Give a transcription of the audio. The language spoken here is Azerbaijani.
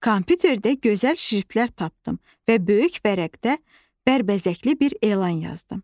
Kompüterdə gözəl şriftlər tapdım və böyük vərəqdə bərbəzəkli bir elan yazdım.